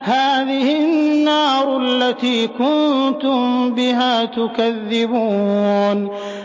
هَٰذِهِ النَّارُ الَّتِي كُنتُم بِهَا تُكَذِّبُونَ